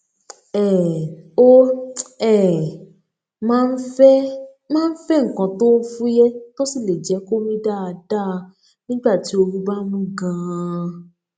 um ó um máa ń fé máa ń fé nǹkan tó fúyẹ tó sì lè jẹ kó mí dáadáa nígbà tí ooru bá mú ganan